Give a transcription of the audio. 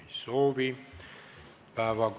Ei soovi.